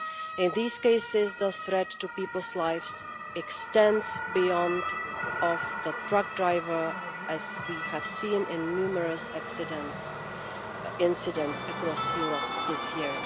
In these cases the threat to people's lives extends beyond the truck driver, as we have seen in numerous incidents across Europe this year.